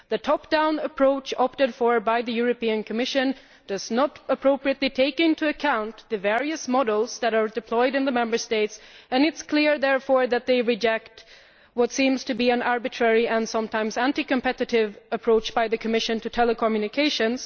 The top down approach opted for by the Commission does not properly take into account the various models that are deployed in the Member States, and it is clear, therefore, that they reject what seems to be an arbitrary and sometimes anti competitive approach by the Commission to telecommunications.